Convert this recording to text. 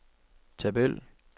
tabel